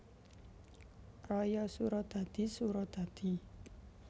Raya Suradadi Suradadi